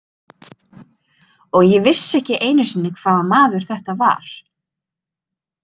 Og ég vissi ekki einu sinni hvaða maður þetta var.